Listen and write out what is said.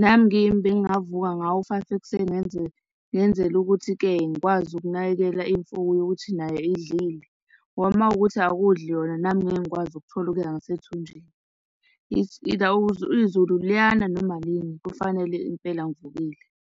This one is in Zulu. Nami ngiyimi, bengingavuka ngawo u-five ekuseni, ngenzele, ngenzela ukuthi-ke ngikwazi ukunakekela imfuyo ukuthi nayo idlile. Ngoba makuwukuthi akudli yona, nami ngeke ngikwazi ukuthola okuya ngasethunjini. It's either izulu liyana noma alini, kufanele impela ngivukile.